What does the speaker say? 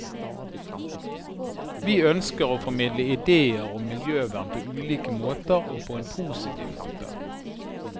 Vi ønsker å formidle ideer om miljøvern på ulike måter og på en positiv måte.